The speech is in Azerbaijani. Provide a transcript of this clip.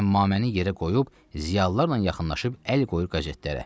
Əmmaməni yerə qoyub ziyalılarla yaxınlaşıb əl qoyur qəzetlərə.